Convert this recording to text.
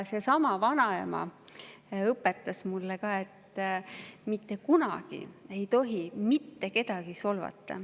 Seesama vanaema õpetas mulle ka seda, et mitte kunagi ei tohi mitte kedagi solvata.